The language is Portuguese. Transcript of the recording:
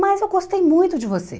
Mas eu gostei muito de você.